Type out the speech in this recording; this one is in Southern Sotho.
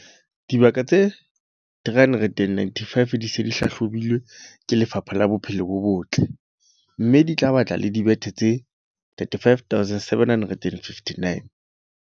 Dibaka tse 395 di se di hlahlobilwe ke Lefapha la Bophelo bo Botle, mme di tla ba le dibethe tse 35 759.